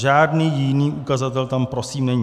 Žádný jiný ukazatel tam prosím není.